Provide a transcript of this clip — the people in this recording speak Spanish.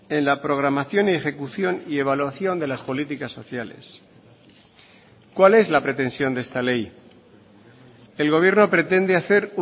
en la programación ejecución y evaluación de las políticas sociales cuál es la pretensión de esta ley el gobierno pretende hacer